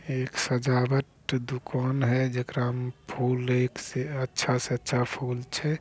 एक सजावट दुकान हेय जकरा में फूल एक से अच्छा से अच्छा फूल छै।